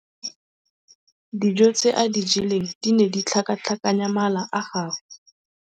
Dijô tse a di jeleng di ne di tlhakatlhakanya mala a gagwe.